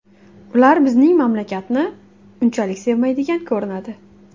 Ular bizning mamlakatni unchalik sevmaydigan ko‘rinadi.